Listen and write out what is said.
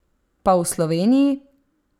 Pa v Sloveniji?